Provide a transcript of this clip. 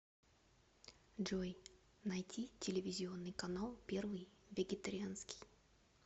джой найти телевизионный канал первый вегетарианский